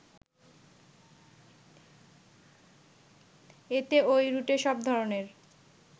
এতে ওই রুটে সব ধরনের